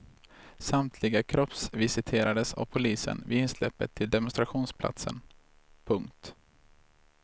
Samtliga kroppsvisiterades av polisen vid insläppet till demonstrationsplatsen. punkt